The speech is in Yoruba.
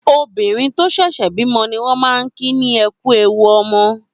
Óbirin tó ṣẹṣẹ bimọ niwọn mà n kí ní ''Ẹkù éwù ọmọ